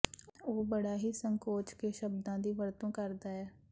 ਉਹ ਬੜਾ ਹੀ ਸੰਕੋਚ ਕੇ ਸ਼ਬਦਾਂ ਦੀ ਵਰਤੋਂ ਕਰਦਾ ਹੈ